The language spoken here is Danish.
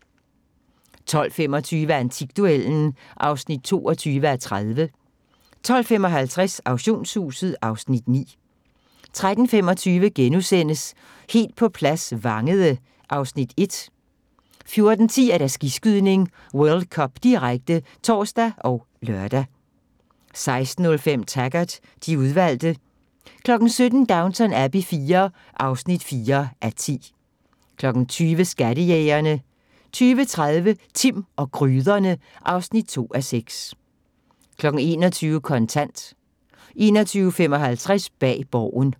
12:25: Antikduellen (22:30) 12:55: Auktionshuset (Afs. 9) 13:25: Helt på plads - Vangede (Afs. 1)* 14:10: Skiskydning: World Cup, direkte (tor og lør) 16:05: Taggart: De udvalgte 17:00: Downton Abbey IV (4:10) 20:00: Skattejægerne 20:30: Timm og gryderne (2:6) 21:00: Kontant 21:55: Bag Borgen